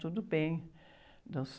Tudo bem...